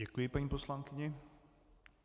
Děkuji paní poslankyni.